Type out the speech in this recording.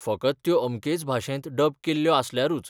फकत त्यो अमकेच भाशेंत डब केल्ल्यो आसल्यारूच.